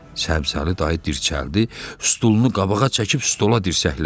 Səbzəli dayı dirçəldi, stulunu qabağa çəkib stola dirsəkləndi.